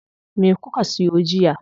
Me kuka siyo jiya?